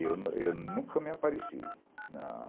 Eu eu nunca me apareci, não